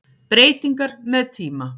Breytingar með tíma